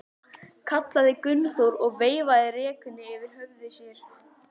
kallaði Gunnþór og veifaði rekunni yfir höfði sér.